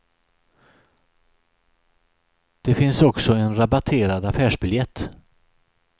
Det finns också en rabatterad affärsbiljett.